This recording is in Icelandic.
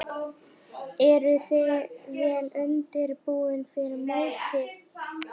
Eruð þið vel undirbúnir fyrir mótið?